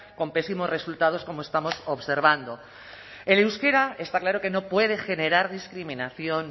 con pésimos resultados como estamos observando el euskera está claro que no puede generar discriminación